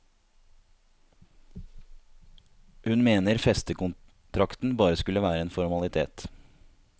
Hun mener festekontrakten bare skulle være en formalitet.